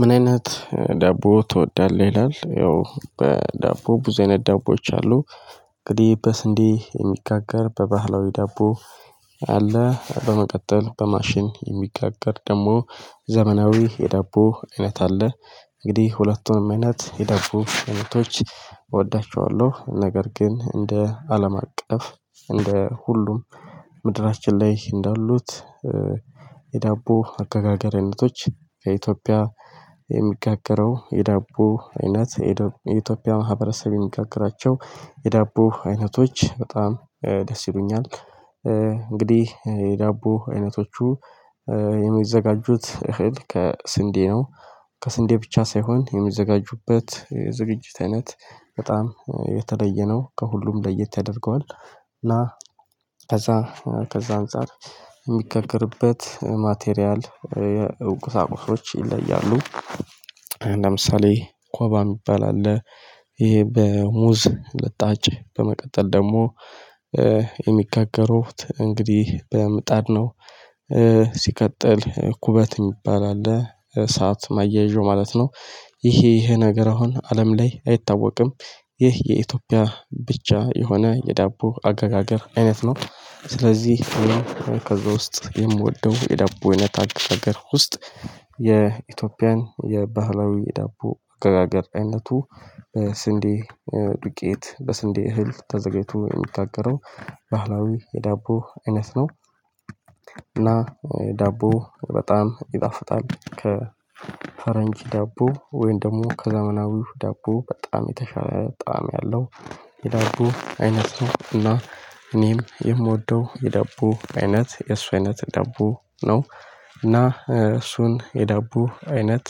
ምን አይነት ዳቦ ትወዳለህ? ይላል ያው በዳቦ ብዙ አይነት ዳቦዎች አሉ። እንግዲህ በስንዴ የሚጋገር በባህላዊ ዳቦ። አለ በመቀጠል በማሽን የሚጋገር ደግሞ ዘመናዊ የዳቦ አይነት አለ። እንግዲህ ሁለቱም አይነት የዳቦ አይነቶች እወዳቸዋለሁ። ነገር ግን እንደ አለም አቀፍ እንደ ሁሉም ምድራችን ላይ እንዳሉት የዳቦ አገጋገርነቶች ከኢትዮጵያ የሚጋገረው የዳቦ አይነት የኢትዮጵያ ማህበረሰብ የሚጋግራቸው የዳቦ አይነቶች በጣም ደስ ይሉኛል። እንግዲህ የዳቦ አይነቶቹ የሚዘጋጁት እህል ከስንዴ ነው። ከስንዴ ብቻ ሳይሆን የሚዘጋጁበት የዝግጅት አይነት በጣም የተለየ ነው ከሁሉም ለየት ያደርገዋል። እና ከዛ ከዛ አንፃር የሚጋገርበት ማቴሪያል ቁሳቁሶች ይለያሉ። ለምሳሌ ኮባ የሚባል አለ። ይሄ በሙዝ ልጣጭ በመቀጠል ደግሞ የሚጋገሩት እንግዲህ በምጣድ ነው። ኩበት የሚባል አለ እሳት ማያያዣው ማለት ነው። ይሄ ይሄ ነገር አሁን አለም ላይ አይታወቅም። ይህ የኢትዮጵያ ብቻ የሆነ የዳቦ አገጋገር አይነት ነው። ስለዚህ ከዛ ውስጥ የምወደው የዳቦ አይነት አገጋር ውስጥ የኢትዮጵያን የባህላዊ የዳቦ አገጋገር አይነቱ በስንዴ ዱቄት በስንዴ እህል ተዘጋጅቶ የሚጋገረው ባህላዊ የዳቦ አይነት ነው። እና ዳቦ በጣም ይጣፍጣል ከፈረንጅ ዳቦ ወይም ደግሞ ከዘመናዊው ዳቦ በጣም የተሻለ ጣዕም ያለው የዳቦ አይነት ነው። እና እኔም የምወደው የዳቦ አይነት የእሱ አይነት ዳቦ ነው። እና እሱን የዳቦ አይነት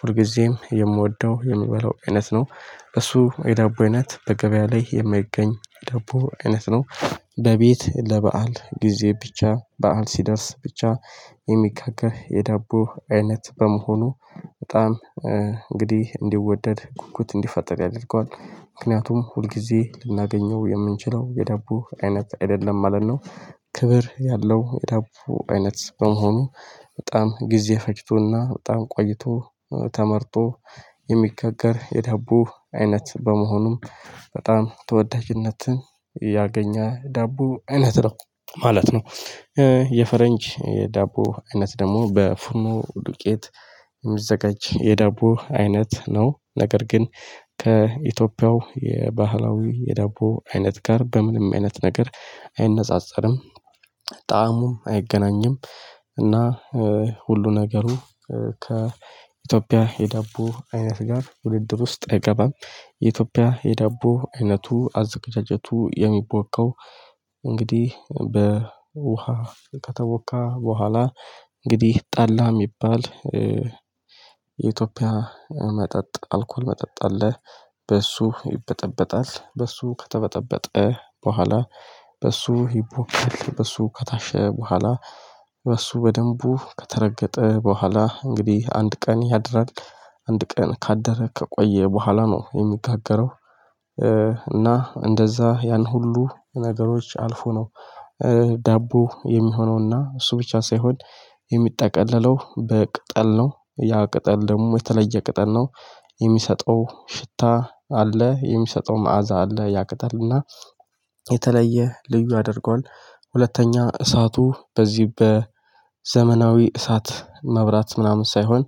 ሁልጊዜም የምወደው የምበላው አይነት ነው። እሱ የዳቦ አይነት በገበያ ላይ የማይገኝ ዳቦ አይነት ነው። በቤት ለበአል ጊዜ ብቻ በዓል ሲደርስ ብቻ የሚጋገር የዳቦ አይነት በመሆኑ በጣም እንግዲህ እንዲወደድ ጉጉት እንዲፈጥር ያደርገዋል ምክንያቱም ሁል ጊዜ ልናገኘው የምንችለው የዳቦ አይነት አይደለም ማለት ነው። ክብር ያለው የዳቦ አይነት በመሆኑ በጣም ጊዜ ፈጅቶና በጣም ቆይቶ ተመርቶ የሚጋገር የዳቦ አይነት በመሆኑም በጣም ተወዳጅነትን ያገኘ ዳቦ አይነት ነው። ማለት ነው የፈረንጅ ዳቦ አይነት ደግሞ በፉርኖ ዱቄት የሚዘጋጅ የዳቦ አይነት ነው። ነገር ግን ከኢትዮጵያው የባህላዊ የዳቦ አይነት ጋር በምንም አይነት ነገር አይነጻጸርም። ጣእሙም አይገናኝም። እና ሁሉ ነገሩ ከኢትዮጵያ የዳቦ አይነት ጋር ውድድር ውስጥ አይገባም። የኢትዮጵያ የዳቦ አይነቱ አዘጋጀቱ የሚቦካው እንግዲህ በውሃ ከተቦካ በኋላ እንግዲህ ጣላህ ይባላል። የኢትዮጵያ መጠጥ አልኮል መጠጥ አለህ? በእሱ ይበጠበጣል በእሱ ከተበጠበጠ በኋላ በእሱ ይቦካል በሱ ከታሸ በኋላ በሱ በደንቡ ከተረገጠ በኋላ እንግዲህ አንድ ቀን ያድራል አንድ ቀን ካደረ ከቆየ በኋላ ነው የሚጋገረው። እና እንደዛ ያን ሁሉ ነገሮች አልፎ ነው። ዳቦ የሚሆነውና እሱ ብቻ ሳይሆን የሚጠቀለለው በቅጠል ነው ያ ቅጠል ደግሞ የተለየ ቅጠል ነው። የሚሰጠው ሽታ አለ የሚሰጠው መዓዛ አለ ያቅጠልና የተለየ ልዩ ያደርገዋል። ሁለተኛ እሳቱ በዚህ በዘመናዊ እሳት መብራት ምናምን ሳይሆን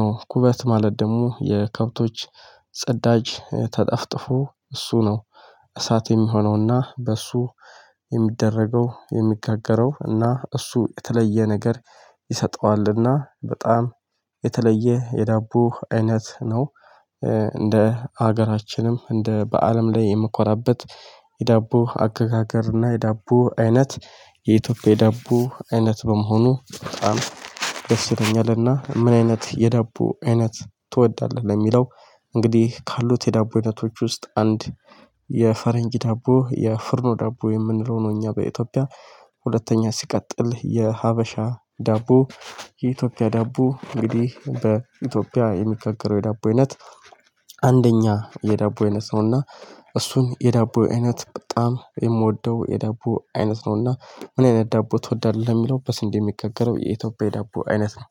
ነው ኩበት ማለት ደግሞ የከብቶች ፅዳጅ ተጠፍጥፎ እሱ ነው። እሳት የሚሆነውና በእሱ የሚደረገው የሚጋገረው እና እሱ የተለየ ነገር ይሰጠዋልና በጣም የተለየ የዳቦ አይነት ነው። ሀገራችንም እንደ በአለም ላይ የምኮራበት የዳቦ አገጋገር እና የዳቦ አይነት የኢትዮጵያ የዳቦ አይነት በመሆኑ በጣም ደስ ይለኛል። እና ምን አይነት የዳቦ አይነት ትወዳለህ? ለሚለው እንግዲህ ካሉት የዳቦ አይነቶች ውስጥ አንድ የፈረንጅ ዳቦ የፍርኖ ዳቦ የምንለው ነው። እኛ በኢትዮጵያ ሁለተኛ ሲቀጥል የሀበሻ ዳቦ የኢትዮጵያ ዳቦ እንግዲህ በኢትዮጵያ የሚጋገረው የዳቦ አይነት። አንድኛ የዳቦ አይነት ነውና እሱን የዳቦ አይነት በጣም የምወደው የዳቦ አይነት ነውና ምን አይነት ዳቦ ትወዳለህ? ለሚለው በስንዴ የሚጋገረው የኢትዮጵያ የዳቦ አይነት ነው